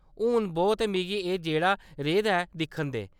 हून बौह् ते मिगी एह्‌‌ जेह्‌ड़ा रेह् दा ऐ, दिक्खन दे।